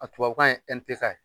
A tubabu kan ye NTK ye.